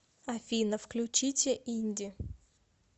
афина включите инди